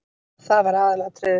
Það var aðalatriðið.